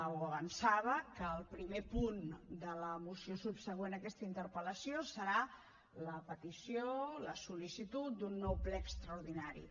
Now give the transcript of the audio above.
o avançava que el primer punt de la moció subsegüent a aquesta interpel·lació serà la petició la sol·licitud d’un nou ple extraordinari